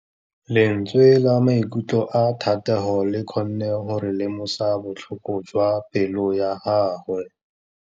Lentswe la maikutlo a Thategô le kgonne gore re lemosa botlhoko jwa pelô ya gagwe.